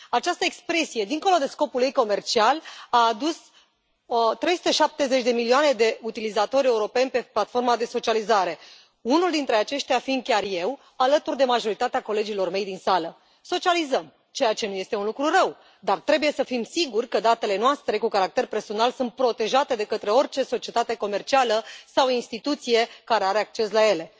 Această expresie, dincolo de scopul ei comercial, a adus 370 de milioane de utilizatori europeni pe platforma de socializare, unul dintre aceștia fiind chiar eu, alături de majoritatea colegilor mei din sală. Socializăm. Ceea ce nu este un lucru rău, dar trebuie să fim siguri că datele noastre cu caracter personal sunt protejate de către orice societate comercială sau instituție care are acces la ele.